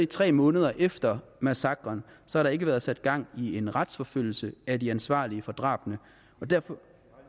tre måneder efter massakren har der ikke været sat gang i en retsforfølgelse af de ansvarlige for drabene og derfor